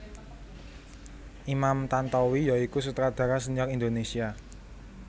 Imam Tantowi ya iku sutradara sénior Indonesia